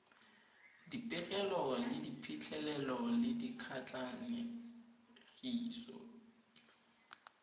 dipegelo ka diphitlhelelo le dikatlanegiso